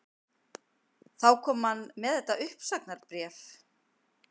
Þá kom hann með þetta uppsagnarbréf